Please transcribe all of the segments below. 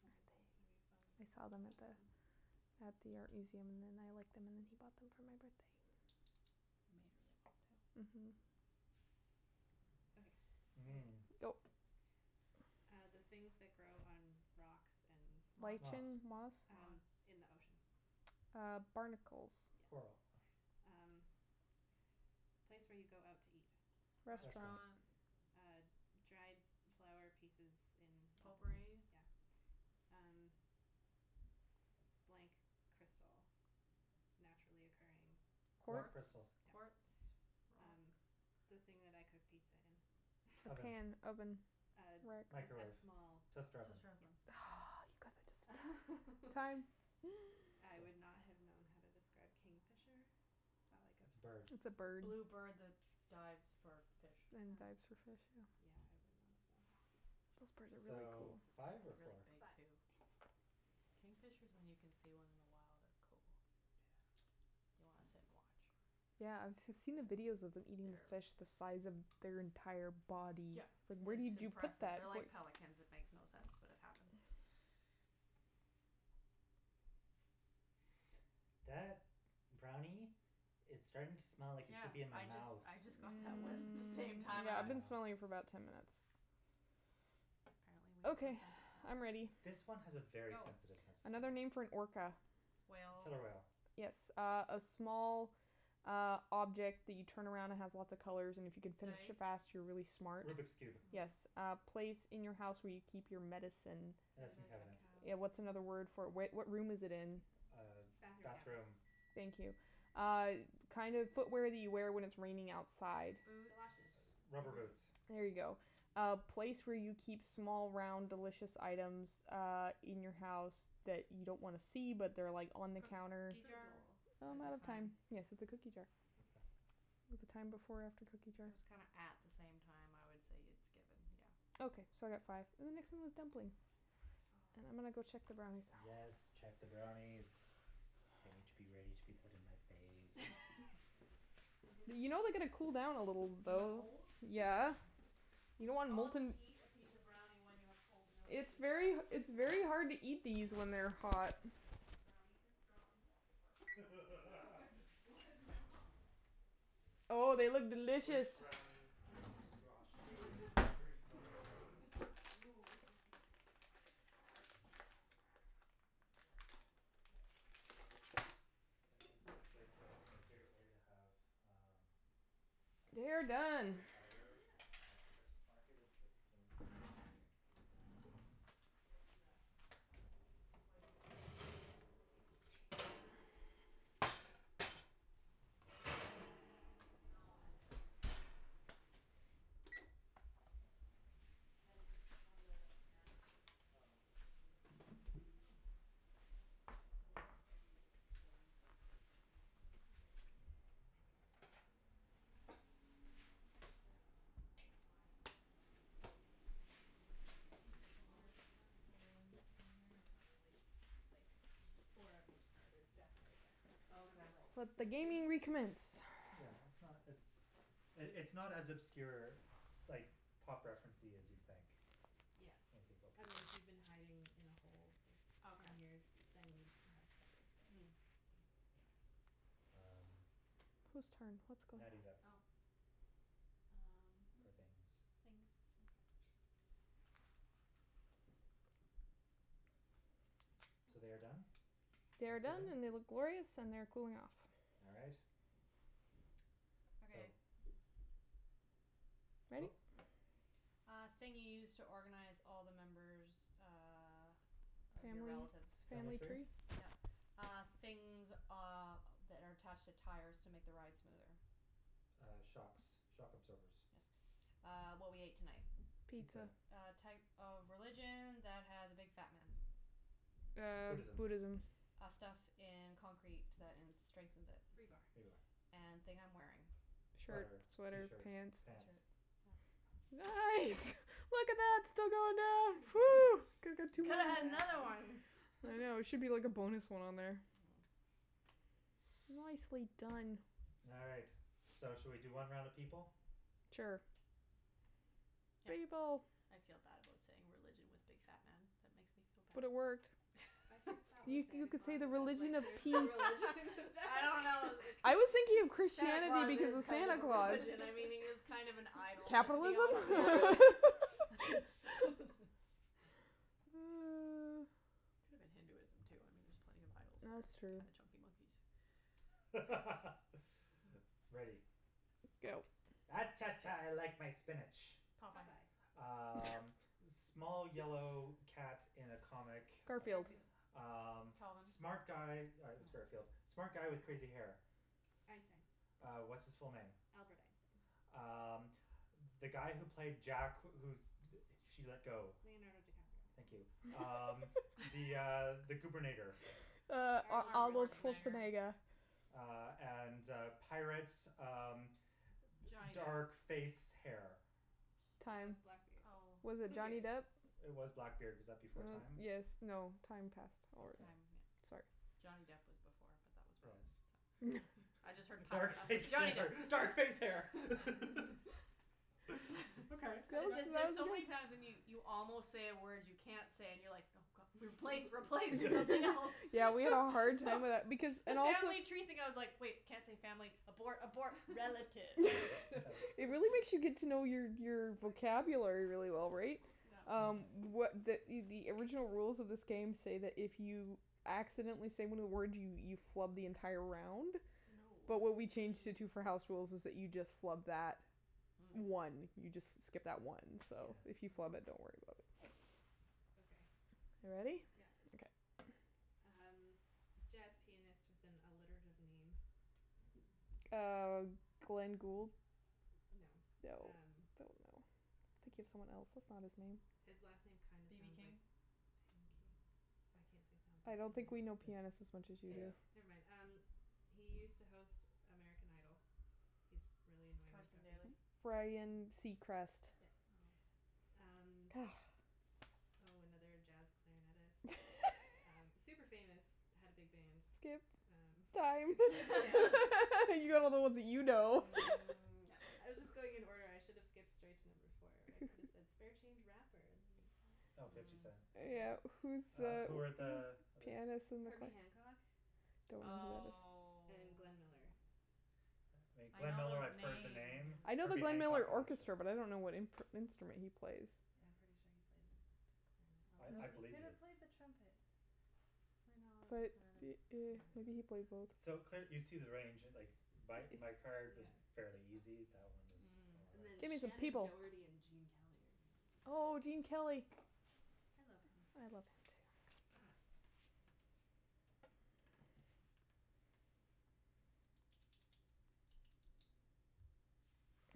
This one's gonna be they? fun I except for saw the them at last one. the, at the art museum and then I liked them and then he bought them for my birthday. They're made really well, too. Mhm. Okay, ready. Mm. Go. Uh, the things that grow on rocks and. Moss. Moss. Lichen, moss? Moss. Um, in the ocean. Uh, barnacles. Yes. Coral. Um, place where you go out to eat. Restaurant. Restaurant. Restaurant. Uh, dried flower pieces in a bowl. Potpourri. Yeah. Um, blank crystal. Naturally occurring. Rock Quartz? Quartz, crystal. quartz, Yeah. rock? Um, the thing that I cook pizza in. A Oven. pan, oven, Um, rack. a Microwave, small. toaster oven. Toaster Yeah. oven. Hmm Oh, you got that just in time. Time. I So. would not have known how to describe kingfisher. Is that like It's a bird. It's a a? bird. Blue bird that dives for fish. And Ah. dives for fish, yeah. Yeah, I would not have known how to. Those birds are So, really cool. five or Really four? big, Five. too. Kingfishers, when you can see one in the wild, are cool. Yeah. You wanna sit and watch. Yeah, I've I've seen the videos of them eating fish the size of their entire body. Yeah, It's like where it's did you put impressive. that? They're like pelicans; it makes no sense, but it happens. That brownie is starting to smell like it Yeah, should be in my I just mouth. I just got that whiff at the same Mm. time, I I've went. been Ah. smelling it for about ten minutes. Apparently, we have no Okay, sense of smell. I'm ready. This one has a very Go. sensitive sense of smell. Another name for an orca. Whale. Killer whale. Yes. Uh a small, uh, object that you turn around and has lots of colors and if you can finish it Dice? fast, you're really smart. Rubik's Cube. Yes. Hmm. A place in your house where you keep your medicine. Medicine Medicine Medicine cabinet. cabinet. Yeah, what's another word cabinet. for it? Where what room is it in? Uh, Bathroom cabinet. bathroom. Thank you. Uh kind of footwear that you wear when it's raining outside. Galoshes, Boots. Rubber rubber boots. boots. There you go. Uh place where you keep small, round, delicious items uh in your house that you don't wanna see, but they're like on the counter. Cookie Fruit jar? bowl. Oh, I'm The out the of time. time. Yes, it's a cookie jar. Oh. Okay. Was the time before or after cookie jar? It was kinda at the same time. I would say it's given, yeah. Okay, so I got five. And the next one was dumpling. And Oh. I'm gonna go check the brownies now. Yes, check the brownies. They need to be ready to be put in my face. I'm gonna You know they see gotta what these cool down a people little, look The like. though. hole? Yeah. You don't It's want called you molten eat a piece of brownie when you have cold milk It's in your mouth very at h- the it's same very time. hard to eat these when they're hot. Brownie and straw and milk, it works Like, what's the problem? Oh, they look delicious. Squish brownie into straw shape, drink milk through it. Ooh hoo hoo Yes. Yeah. Life goals. Yeah. Hashtag life goal. It it it's like the, my favorite way to have um, They are uh, done. apple cider Yeah. at the Christmas market is with a cinnamon stick in it and you drink it through the cinnamon stick. Oh, they do that at the Sounds the tasty. hoity-toity one at the South Granville, that what is it called? Mynard's? No, at the actual, like, fancy home. Fancy home? Yeah, there's one of the manor houses, Oh. they do a Christmas Oh. market. I didn't know It's a that. little spendy to get to go in. It's maybe like sixteen bucks or something, but it's it's nice and Okay. you can get pictures with Santa and all sorts of stuff. Very cool. I don't know why the name is escaping me now. I'd say at Is least it four of the Hollyburn? people ones on here are probably like four of each card are definitely guessable, some of them are Okay. like, Let the hmm? gaming recommence. Yeah, it's not, it's, it's not as obscure, like, pop referencey as you'd think Yeah. when you think about I mean, people. if you've been hiding in a hole for ten Okay. years, then you'd have trouble, but. Mm. Yeah. Kay. Um, Who's turn? What's going Natty's up Oh. Um, for things, things. okay. So they are done They and are done cooling? and they look glorious and they're cooling off. All right. So. Okay. Ready? Go. Uh thing you use to organize all the members uh of your Family relatives. Family family tree? tree? Yeah. Uh, things, uh, that are attached to tires to make the ride smoother. Uh, shocks, shock absorbers. Yes. Uh, what we ate tonight. Pizza. Pizza. A type of religion that has a big fat man. Uh, Buddhism. Buddhism. Uh, stuff in concrete that in strengthens it. Rebar. Rebar, yeah. And thing I'm wearing. Shirt, Sweater, sweater, t-shirt, pants. pants. t-shirt, yeah. Nice! Look at that, still going down. Phew. Could've Well had another done. one. I know, there should be like a bonus one on there. Mm. Nicely done. All right, so should we do one round of people? Sure. Yeah. People. I feel bad about saying religion with big fat man. That makes me feel bad. But it worked. My first thought was You you Santa could say Claus the and I was like religion of there's no peace. religion for I that. don't know, it I was thinking of Santa Christianity Claus because is of kind Santa of a Claus. religion, I mean, he is kind of an idol, let's be honest. Capitalism? Yeah, really Could've been Hinduism, too, I mean, there are plenty of idols that That's are true. kind of chunky monkeys. Ready. Go. Ah cha, cha, I like my spinach. Popeye. Popeye. Um, small yellow cat in a comic. Garfield. Mm. Garfield. Um, Calvin. smart guy- yeah it was Garfield- No. smart guy with crazy hair. Einstein. Uh, what's his full name? Albert Einstein. Um, the guy who placed Jack who she let go. Leonardo DiCaprio. Thank you. Um the, uh, the goobernator. Uh, Arnold Arnold Arnold Schwarzenegger. Schwarzenegger. Schwarzenegger. Uh, and, uh, pirates, um, d- Johnny dark Depp. face, hair. Uh, Time. blackbeard. Oh. Was it Johnny Bluebeard. Depp? It was Blackbeard. Was that before time? Yes, Ah. no, time past already. Okay. Time, yeah. Sorry. Johnny Depp was before, but that was wrong, Yes. so. I just heard Dark pirate, I'm like, face Johnny Depp. hair, dark face hair The K, the there's so many that's times when you five. you almost say a word you can't say and you're like, no, god, replace, replace with something else. Yeah, we all have a hard time with that because The and also family tree thing, I was like, wait, can't say family, abort, abort. Relatives It really makes you get to know your your Like vocabulary really well, right? Um, what the the original rules of this game say that if you accidentally say one of the words, you you flub the entire round, but what Oh. we changed it to for Mm. house rules is that you just flub that one. Mm. You just s- skip that one, so if you Mm. Yeah. flub it, don't worry about it. Okay. You ready? Yeah. Okay. Um, jazz pianist with an alliterative name. Uh, Glenn Gould? No, No, um. don't know. I'm thinking of someone else. That's not his name. His last name kind of BB sounds like King? pancake. I can't say sounds I like, don't think we know can I? pianists as much as you K. Yeah. do. Never mind. Um, he used to host American Idol. He's really annoying and Carson preppy. Daly. Ryan Seacrest. Yes. Oh. Um. Oh, another jazz clarinetist. Super famous, had a big band. Skip. Time. Um, yeah. You got all the ones that you know. Mm, yep. I was just going in order. I should have skipped straight to number four where I could have said spare change rapper and then you'd get it. Oh, Fifty Cent. Mm. Yeah. Who's Uh, who were the the other? pianist and the cla- Herbie Hancock Don't know who that is. Oh. and Glenn Miller. I Glenn know Miller, those I've heard the names. name. I know the Herbie Glenn Hancock, Miller I'm not sure. Orchestra, but I don't know what imp- instrument he plays. Yeah, I'm pretty sure he played clarinet, I I although he believe could you. have played the trumpet. My knowledge But is not as, yeah. maybe he Yeah. played both. So, cl- you see the range. Like, my my card was fairly Yeah. easy; that one was a Mm. lot And then Give me some Shannon harder. people. Doherty and Gene Kelly are the other Oh, ones. Gene Kelly. I love him. I love him, too.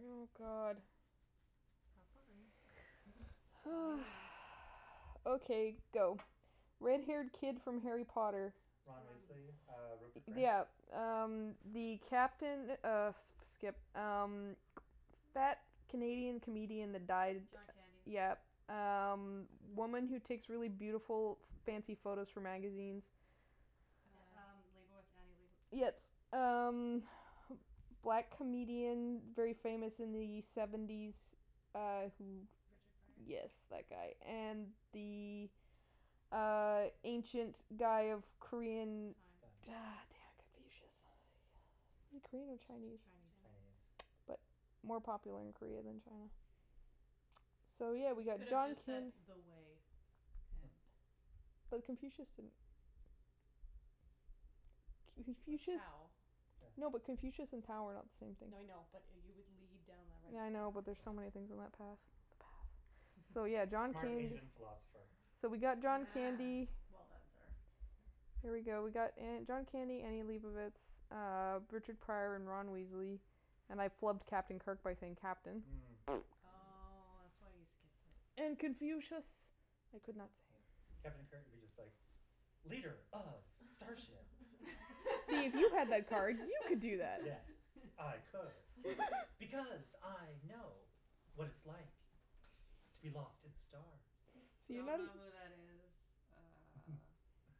Oh, god. Have fun. Tell me Oh. when. Okay, go. Red haired kid from Harry Potter. Ron Ron Weasley, Weasley. uh, Rupert Grint? Yeah. Um, the captain of skip. Um, fat Canadian comedian that died. John Candy. Yeah. Um, woman who takes really beautiful, f- fancy photos for magazines. Yeah Uh. um, Leibovitz, Annie Leibo- Yes. Um, black comedian, very famous in the seventies, uh, who. Richard Pryor? Yes, that guy. And the, uh, ancient guy of Korean. Time. Time. damn. Confucius. Is he Korean or Chinese? Chinese. Chinese. But Chinese. more popular in Korea than China. So, yeah, we You got could've John just said Can- the way. But Confucius didn't. Or Confucius. Tao. No, but Yes. Confucius and Tao are not the same thing. No, I know, but you would lead down the right Yeah, I know, but there's Yeah. so many things on that path. The path. So, yeah, John Smart Candy. Asian philosopher. So we got John Ah, Candy. well done, sir. There we go. We got uh John Candy, Annie Leibovitz, uh, Richard Pryor and Ron Weasley. And I flubbed Captain Kirk by saying captain. Mm. Oh, Mm. that's why you skipped it. And Confucius I could not Yes, say. Captain Kirk would be just like leader of starship. See, if you had that card, you could do that. Yes, I could because I know what it's like to be lost in the stars. So you Don't m- know who that is. Uh.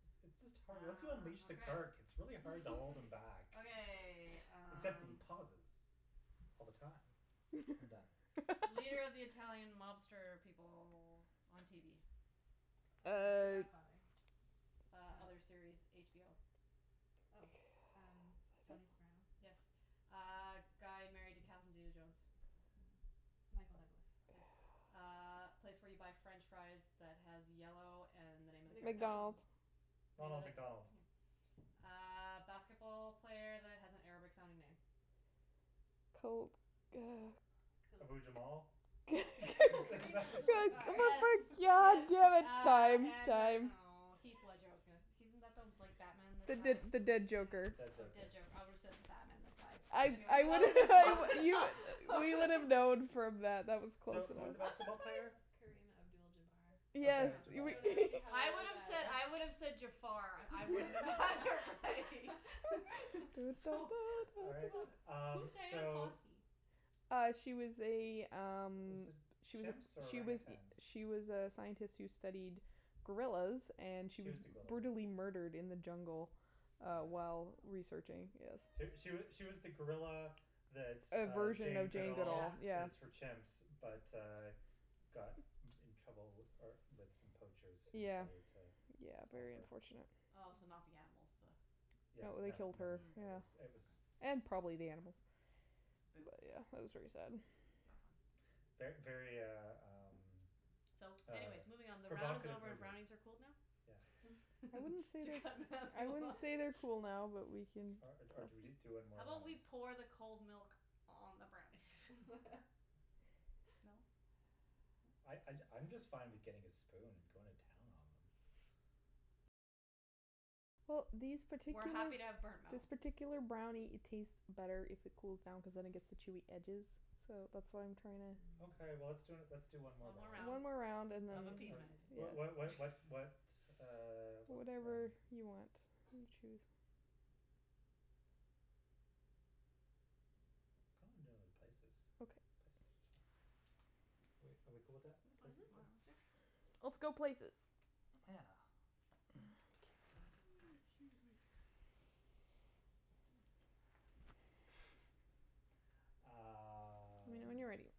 It's it's just hard Once you Ah, unleash the okay. Kirk, it's really hard to hold him back. Okay, Except the um. pauses all the time. I'm done. Leader of the Italian mobster people on TV. Uh, the Uh. Godfather. Uh, Oh. other series, HBO. God. Oh, um, I don't Tony Soprano. Yes. Uh, guy married to Catherine zeta-jones. Michael Douglas. Yes. Uh, place where you buy French fries that has yellow and the name of the character. McDonald's. McDonald's. Name of Ronald the McDonald. yeah Uh basketball player that has an Arabic sounding name. Kobe, uh Ke- Abu Jamal? K- Karim Abdul Jabbar. Yes, yes. yeah, Uh, time, and then, time. oh, Heath Ledger, I was gonna he isn't like the Batman that The the died? the dead The joker. Yeah. dead Oh, joker. dead joker. I would have said the Batman that died, but I anyways, I that would have been close enough We would have known from that. That was close So, who was enough. the I'm basketball player? surprised Kareem Abdul Jabbar. Yes Okay, Jabar. Don't ask Yeah. me how I I know would have that. said, I would have said Jafar. I wouldn't have bothered by It was so so All right, bad. um, Who's Dian so. Fossey? Uh, she was a, um, Was it she was, chimps or she was, orangutans? she was a scientist who studied gorillas and she She was was the gorilla one. brutally murdered in the jungle uh while Yeah. researching, Oh. yes. She she she was the gorilla that A uh version Jane of Jane Goodall Duvall, Yeah. yeah. is for chimps but, uh, got in trouble uh with some poachers who Yeah. decided to Yeah, off very her. unfortunate. Oh, so Mm. not the animals, the No, Yeah, they no, killed no, her, Mm, it yeah. was, it was. okay. And probably the animals. But Boo. wa- yeah, that was very sad. Not fun. Yeah. Ver- very, uh, um, So, um anyways, moving on. The round is provocative over and movie. brownies are cooled now? Yeah. I wouldn't say To they're, cut I Natalie wouldn't off say they're cool now, but we can. Or or do we do one How more about round? we pour the cold milk on the brownies? No? I No? I I'm just fine with getting a spoon and going to town on them. Well, these We're particular, happy to have burnt this mouth. particular brownie, it tastes better if it cools down cuz then it gets the chewy edges, so that's why I'm trying to. Okay, well, let's d- let's do one more One more round One round more Mm. round and then, of uh uh of appeasement. What what what yes. what what, uh, what one? Whatever you want, you choose. Kinda wanna do places. Okay. Places are fun. Are we are we cool with that, That's Mhm, places, fine, places? sure. whatever. Whatever. Let's go places. Yeah. Excuse me. Let me know Um. when you're ready.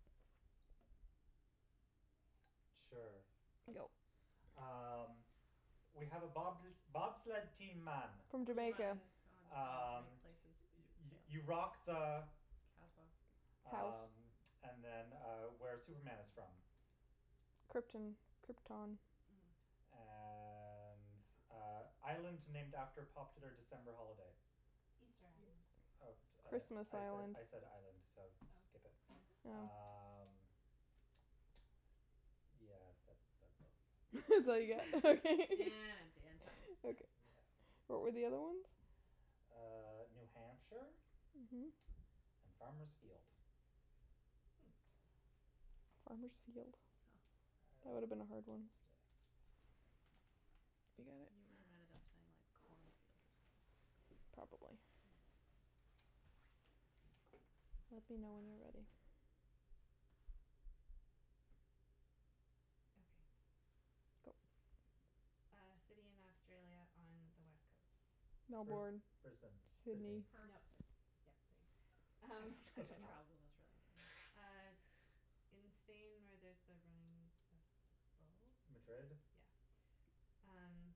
Sure. Go. Um, we have a bob- bobsled team, man. From Cool Jamaica. runnings. Jamaica. Oh, right, Um, places. you you Fail. you rock the Kasbah. House. Um, and then, uh, where Superman is from. Krypton. Krypton. Mm. And, uh, island named after popular December holiday. Easter Island. Eas- Uh, uh, Christmas I Island. said island, so skip Oh. it. Mm. Oh. Um, yeah, that's that's all I got. That's all you get. Okay. empty and time. Yeah. Okay. Yeah. What were the other ones? Uh, New Hampshire Mhm. and Farmer's Field. Hmm. Farmer's Field? Oh. That would have been a hard one. Yeah. You got it? You would have ended up saying like corn field or something. Probably. Mm. Let me know when you're ready. Okay. Go. Uh, city in Australia on the West coast. Br- Melbourne, Brisbane, Sydney. Sydney. Nope, Perth. yeah. Um, I travelled in Australia, so. uh, in Spain where there's the running of the Madrid? bulls. Yeah. Um,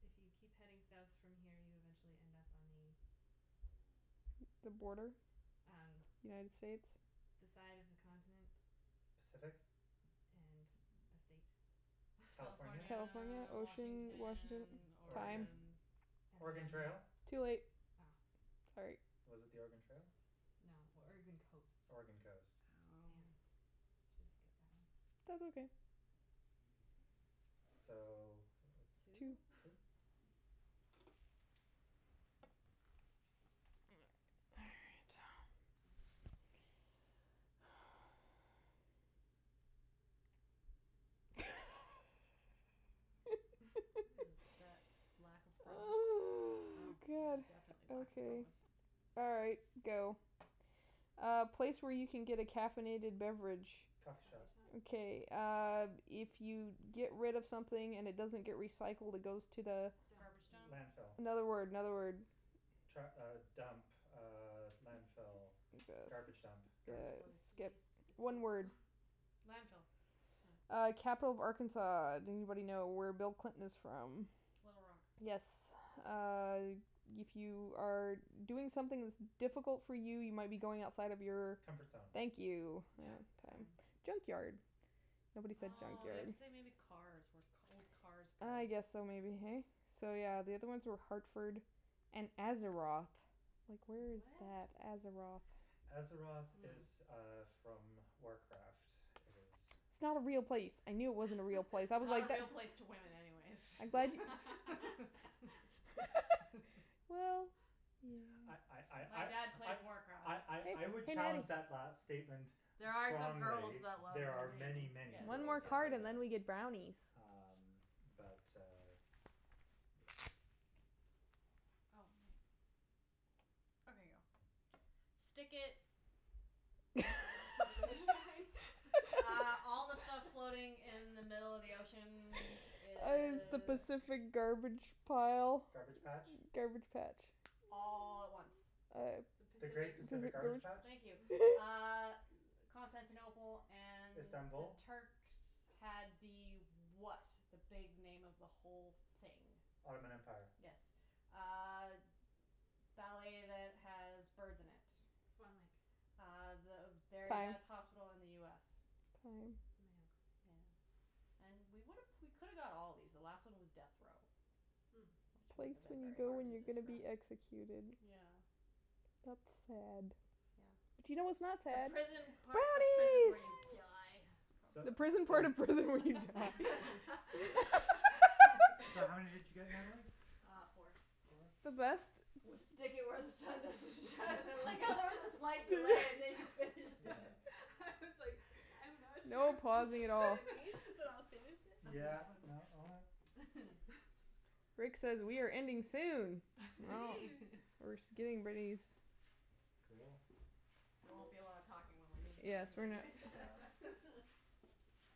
if you keep heading South from here, you eventually end up on the The border? Um, United States? the side of the continent. Pacific? And the state. California? California, California, ocean, Washington? Washington, Time. Oregon? Oregon. Oregon And then. Trail? Too late. Oh. Sorry. Was it the Oregon Trail? No, Oregon coast. Oregon coast. Damn, I Oh. Oh. should have skipped that one. That's okay. So, what, Two. Two? two? All right. Is that lack of promise? Oh, Oh, yeah, god. definitely lack of Okay. promise. All right, go. A place where you can get a caffeinated beverage. Coffee Coffee shop. shop. Okay, uh, if you get rid of something and it doesn't get recycled, it goes to the Dump. Garbage dump. Landfill. Another word, another word. Tru- uh, dump, uh, landfill, garbage dump. Garbage place. Skip. Waste One disposal. word. Landfill. No. Uh, capital of Arkansas. Do anybody know where Bill Clinton is from? Little Rock. Yes. Uh, if you are doing something that's difficult for you, you might be going outside of your Comfort zone. Thank you. Yep, Uh time. time. Junkyard. Nobody said Oh, you have junkyard. to say Oh. maybe cars, where old cars go. Ah, yes, so maybe, hey? So, yeah, the other ones Hmm. were Hartford and Azeroth. Like, where is What? that? Azeroth? Azeroth Mm. is, uh, from Warcraft. It is. It's not a real place. I knew it wasn't a real place. I was Not like a real place to women, anyways I'm glad Well, I I yeah. My I dad plays I I Warcraft. I I Hey, I would hey, challenge that last Nattie. statement There are some girls strongly. that love There are the many, game, many yes, One girls more that card play and then that. we yes. get brownies. Um, but, uh, yeah. Oh, ma- Okay, Okay, go. go. Stick it. Where the sun don't shine? Uh all the stuff floating in the middle of the ocean Is the is. Pacific That's. garbage pile? Garbage patch. Garbage patch? All at once. Uh. The The great Pacific. Pacific garbage patch. Thank you. Uh, Constantinople and the Istanbul? Turks had the what, the big name of the whole thing? Ottoman Empire. Yes. Uh, ballet that has birds in it. Swan Lake. Uh, the very Time. best hospital in the US. Time. Mayo Clinic. Yeah. And we would've, we could've got all of these. The last one was death row, Hmm. which The wouldn't place have been you very go hard when to you're gonna describe. be executed. Yeah. That's sad. Yeah. But you know what's not The sad? prison part of prison Brownies. where you die. Yay! So, The prison part so. of prison when you die. So how many did you get, Natalie? Uh, four. Four? The best. Was stick it where the sun doesn't shine. I like how there was a slight delay and then you finished Yeah. it. I was like, I'm not sure No if this pausing at is what all. it means, but I'll finish it. That was Yeah, funny. no, all right. Rick says we are ending soon. Well, Woohoo. we're just getting rid of these. Cool. There won't be a lot of talking when we're eating Yes, brownies, we're not anyways. Yeah.